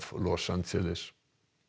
Los Angeles